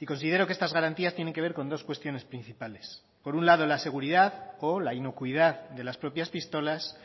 y considero que estas garantías tienen que ver con dos cuestiones principales por un lado la seguridad o la inocuidad de las propias pistolas